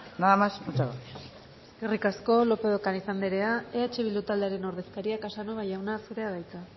nada más muchas gracias eskerrik asko lópez de ocariz anderea eh bildu taldearen ordezkaria casanova jauna zurea da hitza